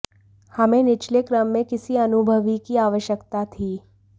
हमें निचले क्रम में किसी अनुभवी की आवश्यकता थी